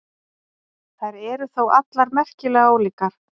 Þær eru þó allar merkilega ólíkar.